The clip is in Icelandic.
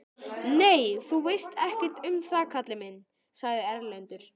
Nei, þú veist ekkert um það kallinn minn, sagði Erlendur.